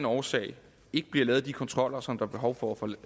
årsag ikke bliver lavet de kontroller som der er behov for